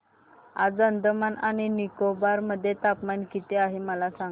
आज अंदमान आणि निकोबार मध्ये तापमान किती आहे मला सांगा